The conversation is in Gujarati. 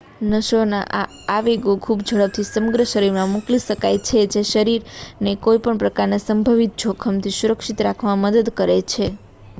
નસોના આ આવેગો ખૂબ ઝડપથી સમગ્ર શરીરમાં મોકલી શકાય છે જે શરીરને કોઈ પણ પ્રકારના સંભવિત જોખમથી સુરક્ષિત રાખવામાં મદદ કરે છે